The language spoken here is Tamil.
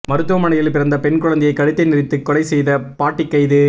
மருத்துவமனையில் பிறந்த பெண் குழந்தையை கழுத்தை நெறித்து கொலைசெய்த பாட்டி கைது